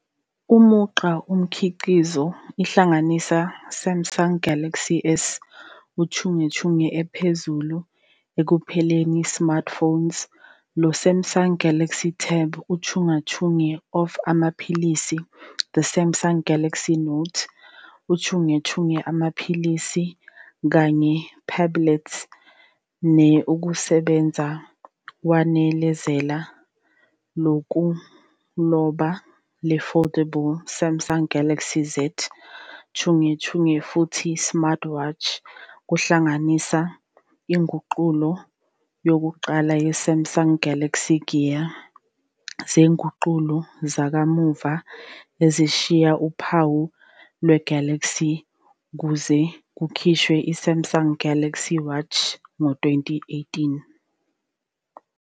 Umugqa umkhiqizo ihlanganisa Samsung Galaxy S uchungechunge ephezulu ekupheleni Smartphones, lo Samsung Galaxy Tab chungechunge of amaphilisi, the Samsung Galaxy Note uchungechunge amaphilisi kanye phablets ne-ukusebenza wanezela lokuloba, le-foldable Samsung Galaxy Z chungechunge, futhi smartwatches kuhlanganise inguqulo yokuqala ye-Samsung Galaxy Gear, ngezinguqulo zakamuva ezishiya uphawu lwe-Galaxy, kuze kukhishwe i-Samsung Galaxy Watch ngo-2018.